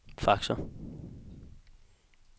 faxer